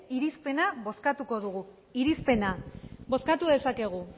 irizpena bozkatuko dugu irizpena bozkatu dezakegu